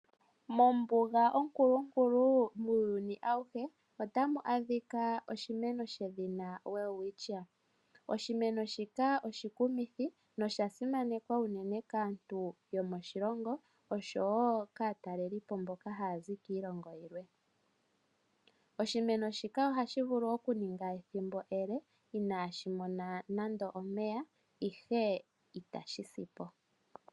Mombuga onkulunkulu muuyuni awuhe otamu adhika oshimeno shedhina Welwitchia. Oshimeno shika oshikumithi nosha simanekwa unene kaantu yomoshilongo osho wo kaatalelipo mboka haya zi kiilongo yilwe. Oshimeno shika ohashi vulu okuninga ethimbo ele inaashi mona nande omeya ihe itashi sipo.